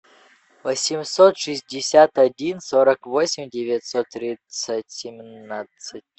восемьсот шестьдесят один сорок восемь девятьсот тридцать семнадцать